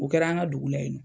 O kɛra an ŋa dugu la yen nɔ.